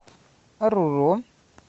оруро